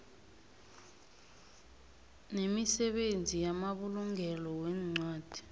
nemisebenzi yamabulungelo weencwadi